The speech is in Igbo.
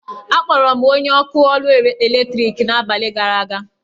Akpọrọ m onye ọkụ ọrụ eletriki n'abalị gara aga.